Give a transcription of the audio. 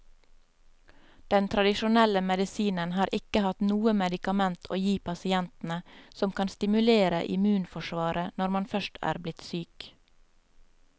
Den tradisjonelle medisinen har ikke hatt noe medikament å gi pasientene som kan stimulere immunforsvaret når man først er blitt syk.